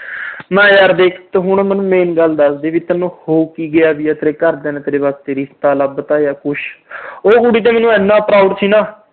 ਮੈਂ ਕਿਹਾ ਯਾਰ ਦੇਖ ਤੂੰ ਹੁਣ ਮੈਨੂੰ main ਗੱਲ ਦੱਸ ਦੇ, ਤੈਨੂੰ ਹੋ ਕੀ ਗਿਆ। ਕਹਿੰਦੀ ਤੇਰੇ ਘਰਦਿਆਂ ਨੇ ਤੇਰੇ ਵਾਸਤੇ ਰਿਸ਼ਤਾ ਲੱਭਤਾ ਜਾਂ ਕੁੱਛ। ਉਹ ਕੁੜੀ ਤੇ ਮੈਨੂੰ ਇੰਨਾ proud ਸੀ ਨਾ।